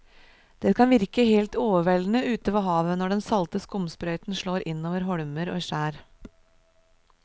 Det kan virke helt overveldende ute ved havet når den salte skumsprøyten slår innover holmer og skjær.